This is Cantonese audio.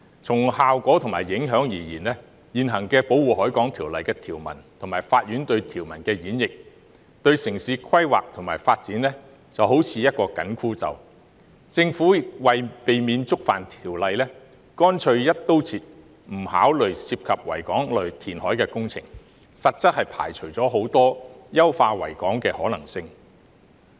從效果和影響而言，《條例》的現行條文及法院對條文的演譯，對城市規劃及發展來說便好像一個緊箍咒，政府為了避免觸犯《條例》，乾脆"一刀切"，不考慮涉及維港的填海工程，實質上排除了很多優化維港的可能性。